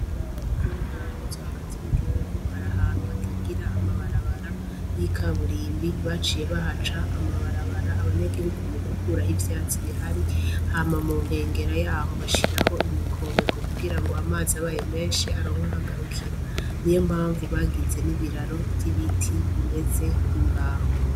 Mu ntara zo hagati mu gihugu hari ahantu hatagira amabarabara y'ikaburimbi, baciye bahaca amabarabara abanya gihugu mugukuraho ivyatsi bihari hama munkengero yaho bashiraho imikobeko kugira ngo amazi abaye menshi aronke aho agarukira niyo mpamvu bagize n'ibiraro vy'ibiti bimeze nk'imbaho.